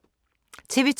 TV 2